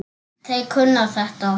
Þeir kunna þetta.